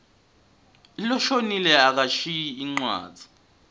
loshonile akashiyi incwadzi